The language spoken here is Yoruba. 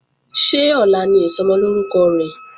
Ṣé ọ̀la ni Ìsọmọlórúkọ rẹ̀?